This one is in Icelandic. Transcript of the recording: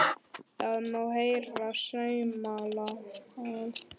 Það má heyra saumnál detta.